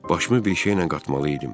Başımı bir şeylə qatmalı idim.